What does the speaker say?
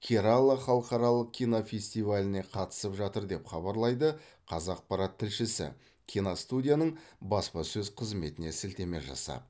керала халықаралық кинофестиваліне қатысып жатыр деп хабарлайды қазақпарат тілшісі киностудияның баспасөз қызметіне сілтеме жасап